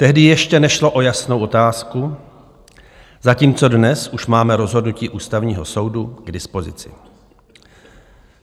Tehdy ještě nešlo o jasnou otázku, zatímco dnes už máme rozhodnutí Ústavního soudu k dispozici.